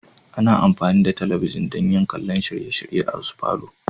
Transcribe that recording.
Ana amfani da talabijin don kallon shirye-shirye a wasu falo.